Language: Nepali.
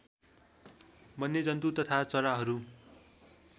वन्यजन्तु तथा चराहरू